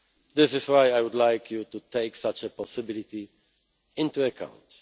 matter. This is why I would like you to take such a possibility into